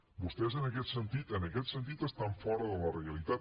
vostès en aquest sentit en aquest sentit estan fora de la realitat